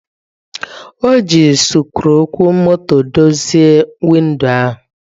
O ji sikruuokwomotodozie windo ahụ.